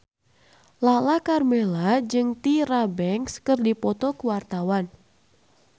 Lala Karmela jeung Tyra Banks keur dipoto ku wartawan